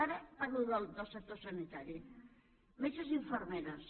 ara parlo del sector sanitari metges i infermeres